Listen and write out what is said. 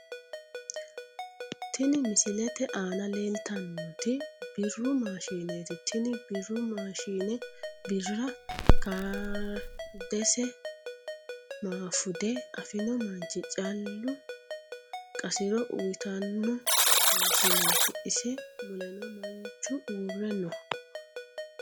Tini misilete aana leeltannoti birru maashineeti tini birru maashine birra kaardesi maafude afino manchi calla qasiro uytanmo mashineeti ise muleno manchu uurre no.